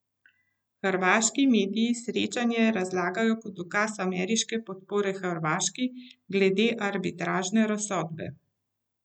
Hrvaški mediji srečanje razlagajo kot dokaz ameriške podpore Hrvaški glede arbitražne razsodbe.